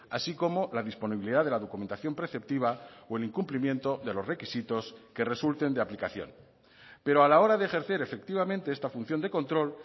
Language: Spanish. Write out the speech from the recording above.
así como la disponibilidad de la documentación preceptiva o el incumplimiento de los requisitos que resulten de aplicación pero a la hora de ejercer efectivamente esta función de control